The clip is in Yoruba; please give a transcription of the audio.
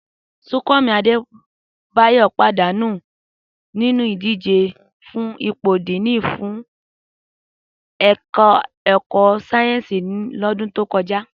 Súnkànmí Adébáyọ̀ pàdánù nínú ìdíje fún ipò díìnì fún ẹ̀ka ẹ̀kọ́ sáyẹ́ǹsì lọ́dún tó kọjá